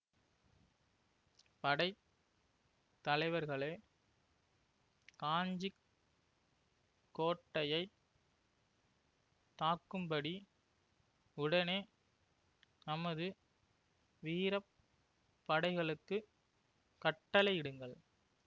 படை தலைவர்களே காஞ்சி கோட்டையை தாக்கும்படி உடனே நமது வீர படைகளுக்குக் கட்டளையிடுங்கள்